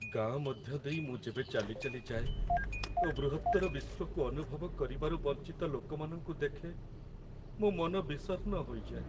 ଗାଁ ମଧ୍ୟ ଦେଇ ମୁଁ ଯେବେ ଚାଲି ଚାଲି ଯାଏ ଓ ବୃହତ୍ତର ବିଶ୍ଵକୁ ଅନୁଭବ କରିବାରୁ ବଞ୍ଚିତ ଲୋକମାନଙ୍କୁ ଦେଖେ, ମୋ ମନ ବିଷର୍ଣ୍ଣ ହୋଇଯାଏ।